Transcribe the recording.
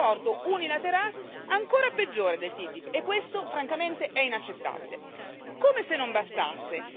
Sembra che gli Stati Uniti utilizzino le sanzioni per arrivare ad un accordo unilaterale ancora peggiore del TTIP.